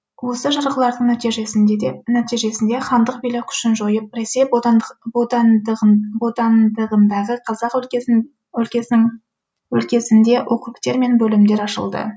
осы жарғылардың нәтижесінде хандық билік күшін жойып ресей бодандығындағы қазақ өлкесінде округтер мен бөлімдер ашылды